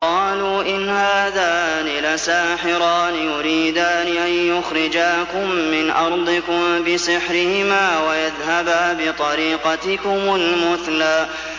قَالُوا إِنْ هَٰذَانِ لَسَاحِرَانِ يُرِيدَانِ أَن يُخْرِجَاكُم مِّنْ أَرْضِكُم بِسِحْرِهِمَا وَيَذْهَبَا بِطَرِيقَتِكُمُ الْمُثْلَىٰ